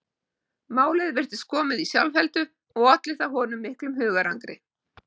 Málið virtist komið í sjálfheldu og olli það honum miklu hugarangri.